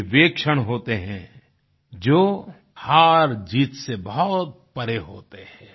ये वे क्षण होते हैं जो हारजीत से बहुत परे होते हैं